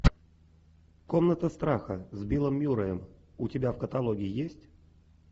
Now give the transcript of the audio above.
комната страха с биллом мюрреем у тебя в каталоге есть